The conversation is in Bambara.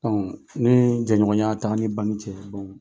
ni jɛ ɲɔgɔnya t'a ni banki cɛ